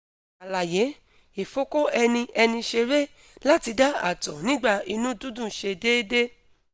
alaye: ifoko eni eni sere lati da ato nigba inu dundun se deede